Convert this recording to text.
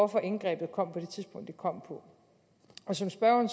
indgrebet kom på det tidspunkt det kom på som spørgeren